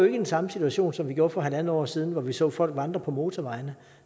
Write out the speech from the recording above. i den samme situation som vi gjorde for halvandet år siden hvor vi så folk vandre på motorvejene